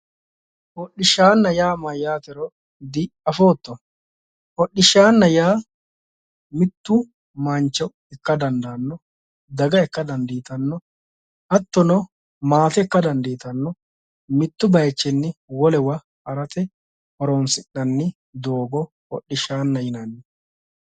Hodishshaana yaa mayatero diafootto ,hodhishshaana yaa mitu mancho ikka dandaano daga ikka dandiittano hattono maate ikka dandiittano mitu bayichini wolewa harate horonsi'nanni doogo hodhishaana yinnanni.